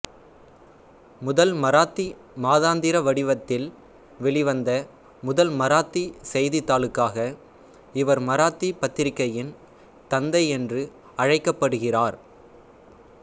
முதல் மராத்தி மாதாந்திர வடிவத்தில் வெளிவந்த முதல் மராத்தி செய்தித்தாளுக்காக இவர் மராத்தி பத்திரிகையின் தந்தை என்று அழைக்கப்படுகிறார்